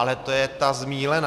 Ale to je ta zmýlená!